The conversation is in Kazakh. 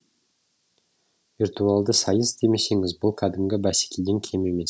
виртуалды сайыс демесеңіз бұл кәдімгі бәсекеден кем емес